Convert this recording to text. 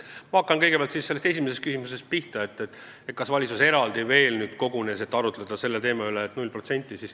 Ma hakkan pihta esimesest küsimusest, kas valitsus kogunes eraldi, et arutleda selle 0% üle.